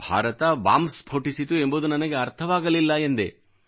Bharat bomb ಸ್ಫೋಟಿಸಿತು ಎಂಬುದು ನನಗೆ ಅರ್ಥವಾಗಲಿಲ್ಲ ಎಂದೆ